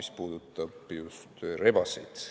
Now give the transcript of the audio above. See puudutab just rebaseid.